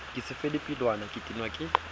ke sefelapelwana ke tenwa ke